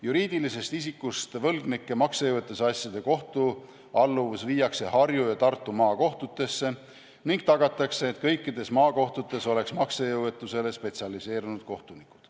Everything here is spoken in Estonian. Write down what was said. Juriidilisest isikust võlgnike maksejõuetusasjade kohtualluvus viiakse Harju- ja Tartu Maakohtusse ning tagatakse, et kõikides maakohtudes oleks maksejõuetusele spetsialiseerunud kohtunikud.